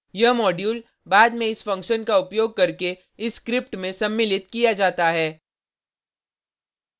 यह मॉड्यूल बाद में इस फंक्शन का उपयोग करके इस स्क्रिप्ट में सम्मिलित किया जाता है